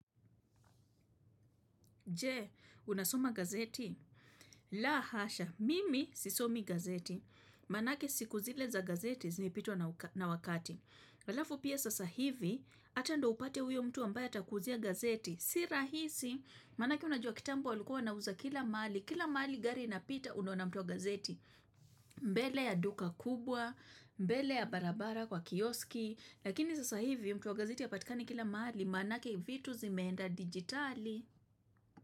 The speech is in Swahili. Je, unasoma gazeti? La hasha, mimi sisomi gazeti. Manake siku zile za gazeti zilipitwa na wakati. Halafu pia sasa hivi, ata ndio upate huyo mtu ambaye atkuuzia gazeti. Si rahisi, manake unajua kitambo walikua wana uza kila mahali. Kila mahali gari inapita unaona mtu wa gazeti. Mbele ya duka kubwa, mbele ya barabara kwa kioski. Lakini sasa hivi, mtu wa gazeti hapatikani kila mahali, manake vitu zimeenda digitali.